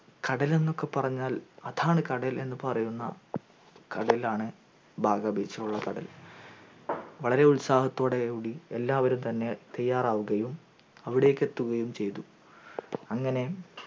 കടൽ എന്നൊക്കെ പറഞ്ഞാൽ അതാണ് കടൽ എന്നുപറയുന്ന കടലാണ് ബാഗാ beach യിലുള്ള കടൽ വളരെ ഉത്സാഹത്തോടെ കൂടി എല്ലാവരും തന്നെ തയ്യാറവുകയും അവിടേക്കു എത്തുകയും ചയ്തു അങ്ങനെ